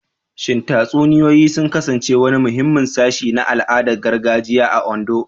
Shin tatsuniyoyi sun kasance wani muhimmin sashi na al'adun gargajiya a Ondo?